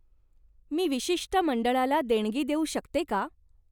मी विशिष्ट मंडळाला देणगी देऊ शकते का?